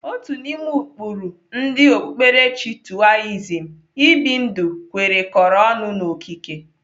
Otu n'ime ụkpụrụ ndị okpukperechi Toaism ibi ndụ kwerekọrọ ọnụ n'okike.